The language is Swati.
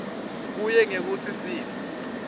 kuye ngekutsi simo